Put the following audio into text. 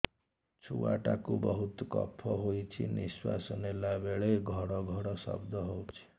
ଛୁଆ ଟା କୁ ବହୁତ କଫ ହୋଇଛି ନିଶ୍ୱାସ ନେଲା ବେଳେ ଘଡ ଘଡ ଶବ୍ଦ ହଉଛି